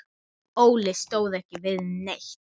Óli stóð ekki við neitt.